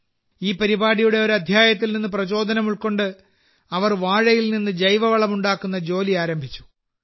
ഈ പരിപാടിയുടെ ഒരു അധ്യായത്തിൽ നിന്ന് പ്രചോദനം ഉൾക്കൊണ്ട് അവർ വാഴയിൽ നിന്ന് ജൈവവളം ഉണ്ടാക്കുന്ന ജോലി ആരംഭിച്ചു